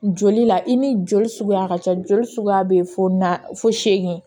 Joli la i ni joli suguya ka ca joli suguya bɛ na fo segu